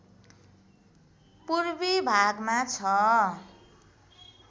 पूर्वी भागमा छ